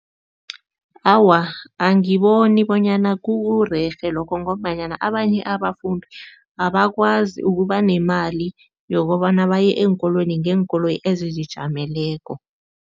Awa, angiboni bonyana kurerhe lokho ngombanyana abanye abafundi abakwazi ukuba nemali yokobana baye eenkolweni ngeenkoloyi ezizijameleko.